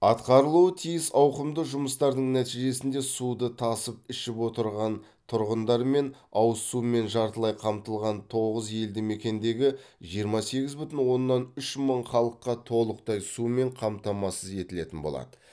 атқарылуы тиіс ауқымды жұмыстардың нәтижесінде суды тасып ішіп отырған тұрғындар мен ауызсумен жартылай қамтылған тоғыз елді мекендегі жиырма сегіз бүтін оннан үш мың халыққа толықтай сумен қамтамасыз етілетін болады